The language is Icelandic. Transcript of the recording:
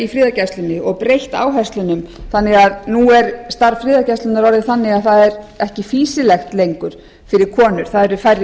í friðargæslunni og breytt áherslunum þannig að að nú er starf friðargæslunnar orðið þannig að það er ekki fýsilegt lengur fyrir konur það eru færri